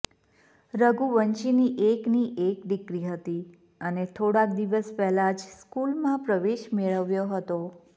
રઘુવંશીની એકની એક દીકરી હતી અને થોડાંક દિવસ પહેલાં જ સ્કૂલમાં પ્રવેશ મેળવ્યો હતો